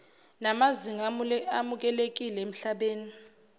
namazinga amukelekile emhlabeni